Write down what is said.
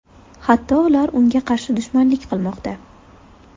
Hatto ular unga qarshi dushmanlik qilmoqda.